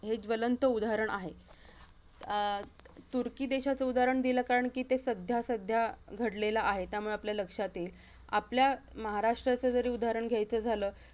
हे ज्वलंत उदाहरण आहे आह तुर्की देशाचं उदाहरण दिलं कारण की ते सध्या सध्या घडलेला आहे त्यामुळे आपल्या लक्षात येईल आपल्या महाराष्ट्राचं जरी उदाहरण घ्यायचं झालं